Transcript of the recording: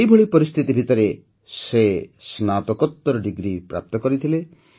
ଏହିଭଳି ପରିସ୍ଥିତି ଭିତରେ ସେ ସ୍ନାତକୋତ୍ତର ଡିଗ୍ରୀ ପ୍ରାପ୍ତ କରିଥିଲେ